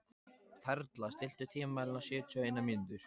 Perla, stilltu tímamælinn á sjötíu og eina mínútur.